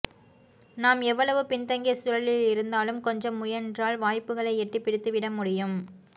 நாம் எவ்வளவு பின்தங்கிய சூழலில் இருந்தாலும் கொஞ்சம் முயன்றால் வாய்ப்புகளை எட்டிப் பிடித்துவிட முடியும்